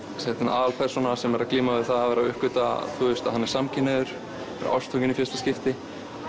aðalpersóna sem er að glíma við að vera að uppgötva að hann er samkynhneigður ástfanginn í fyrsta skipti